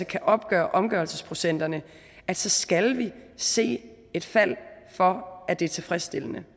kan opgøre omgørelsesprocenterne så skal vi se et fald for at det er tilfredsstillende